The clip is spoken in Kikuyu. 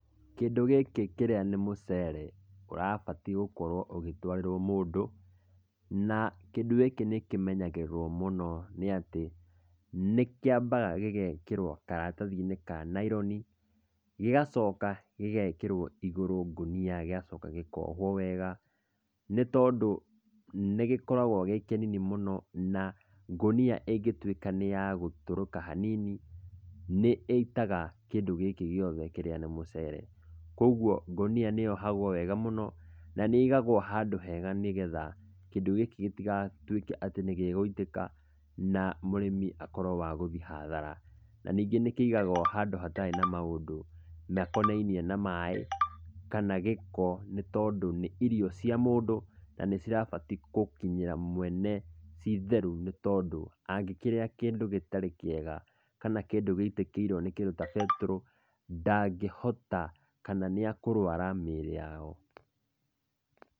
Kĩndũ gĩkĩ kĩrĩa nĩ mũcere, ũrabatiĩ gũkorwo ũgĩtwarĩrwo mũndũ, na kĩndũ gĩkĩ nĩ kĩmenyagĩrĩrwo mũno nĩ atĩ, nĩ kĩambaga gĩgekĩrũo karatathi-inĩ ka naironĩ, gĩgacoka gĩgekĩrwo igũrũ ngũnia, gĩgacoka gĩkohwo wega, nĩ tondũ nĩgĩkoragwo gĩ kĩnini mũno na ngũnia ĩngĩtuĩka nĩ yagũtũrĩka hanini, nĩ ĩitaga kĩndũ gĩkĩ gĩothe kĩrĩa nĩ mũcere. Koguo ngũnia nĩyohagũo wega mũno na nĩ ĩigagwo handũ hega mũno, nĩgetha kĩndũ gikĩ gĩtigatuĩke atĩ nĩ gĩgũitĩka, na mũrĩmi atuĩke wagũthiĩ hathara, na nĩngĩ nĩkĩigahwo handũ harĩa hatakonainie na maĩ, kana gĩko, nĩ tondũ nĩ irio cia mũndũ, na nĩcibatiĩ gũkinyĩra mwene ciĩtheru nĩ tondũ angĩkĩrĩa kĩndũ gĩtarĩ kĩega, kana kĩndũ gĩitĩkĩorwo nĩ kĩndũ ta betũrũ, ndangĩhota, kana nĩekũrwara mĩĩrĩ yao.